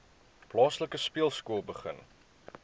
plaaslike speelskool begin